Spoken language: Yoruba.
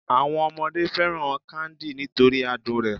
Àwọn ọmọdé fẹ́ràn káńdì nítorí adùn rẹ̀